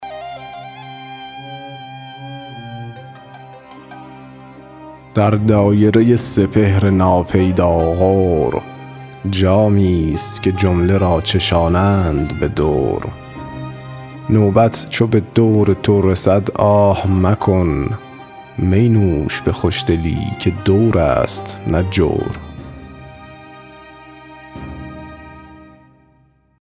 در دایره سپهر ناپیدا غور جامی ست که جمله را چشانند به دور نوبت چو به دور تو رسد آه مکن می نوش به خوشدلی که دور است نه جور